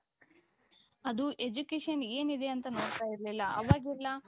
ಅದು education ಏನಿದೆ ಅಂತ ನೋಡ್ತಾ ಇರ್ಲಿಲ್ಲ ಅವಾಗೆಲ್ಲಾ